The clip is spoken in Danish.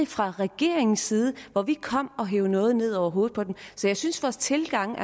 fra regeringens side hvor vi kom og hev noget ned over hovedet på dem jeg synes vores tilgange